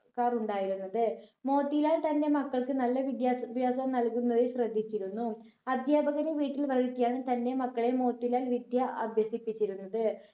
ക്കാറുണ്ടായിരുന്നത് മോത്തിലാൽ തന്റെ മക്കൾക്കു നല്ല വിദ്യാസ ഭ്യാസം നൽകുന്നതിൽ ശ്രദ്ധിച്ചിരുന്നു. അധ്യാപകനെ വീട്ടിൽ വരുത്തിയാണ് തന്റെ മക്കളെ മോത്തിലാൽ വിദ്യ അഭ്യസിപ്പിച്ചിരുന്നത്.